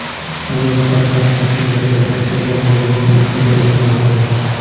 Ayol shafqatsiz munosabatda bo‘lganini inkor etmoqda.